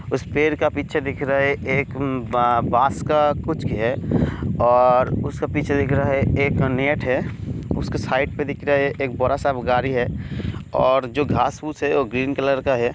उस पेड़ के पीछे दिख रहा है एक मम्म ब-बस्का कुछ और उस के पीछे देख रहा है एक है उस के साइड पे देख रहा है एक बड़ा-सा वो गाड़ी है और जो घास फुस है बो ग्रीन कलर का है।